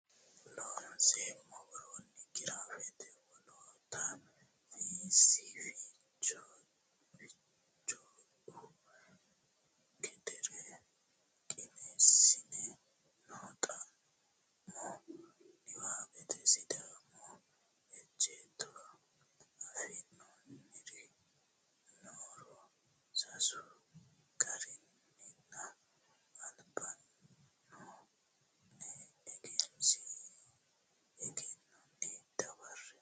Loonseemmo woroonni giraafete Woloota Fiissi Fichohu gedeere qiniishshi noo xa mo niwaawete Sidaamu ejjeetto affinoonniri nooro sasu garinninna alba noo ne egennonni dawarre.